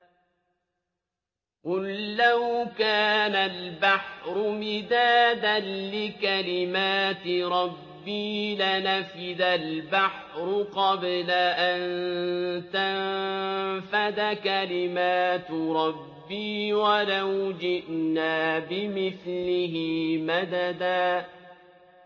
قُل لَّوْ كَانَ الْبَحْرُ مِدَادًا لِّكَلِمَاتِ رَبِّي لَنَفِدَ الْبَحْرُ قَبْلَ أَن تَنفَدَ كَلِمَاتُ رَبِّي وَلَوْ جِئْنَا بِمِثْلِهِ مَدَدًا